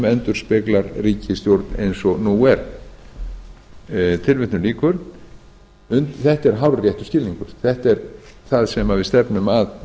endurspeglar ríkisstjórn eins og nú er þetta er hárréttur skilningur þetta er það sem við stefnum að